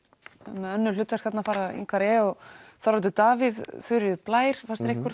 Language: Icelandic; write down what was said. með önnur hlutverk þarna fara Ingvar e Þorvaldur Davíð Þuríður Blær fannst ykkur